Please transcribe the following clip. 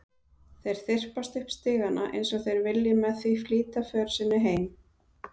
Þeir þyrpast upp stigana eins og þeir vilji með því flýta för sinni heim.